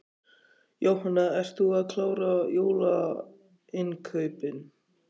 Jóhanna: Ert þú að klára jólainnkaupin?